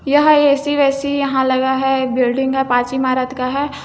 यह ए_सी वेसी यहाँ लगा है एक बिल्डिंग है पाँच इमारत का है।